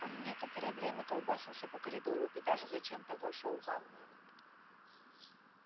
он некоторое время колбасился по коридору и даже зачем-то вошёл в ванную